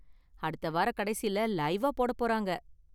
அடுத்த வாரக்கடைசியில லைவ்வா போடப் போறாங்க.